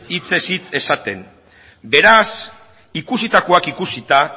hitzez hitz esaten beraz ikusitakoak ikusita